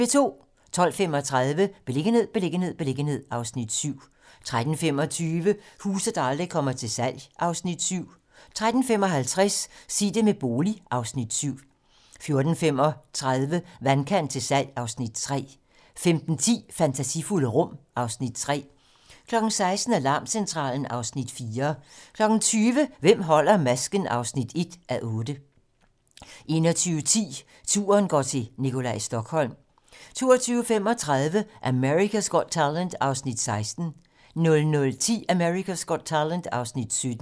12:35: Beliggenhed, beliggenhed, beliggenhed (Afs. 7) 13:25: Huse, der aldrig kommer til salg (Afs. 7) 13:55: Sig det med bolig (Afs. 7) 14:35: Vandkant til salg (Afs. 3) 15:10: Fantasifulde rum (Afs. 3) 16:00: Alarmcentralen (Afs. 4) 20:00: Hvem holder masken? (1:8) 21:10: Turen går til Nikolaj Stokholm 22:35: America's Got Talent (Afs. 16) 00:10: America's Got Talent (Afs. 17)